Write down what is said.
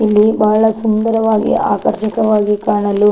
ಇಲ್ಲಿ ಬಹಳ ಸುಂದರವಾಗಿ ಆಕರ್ಷಕವಾಗಿ ಕಾಣಲು --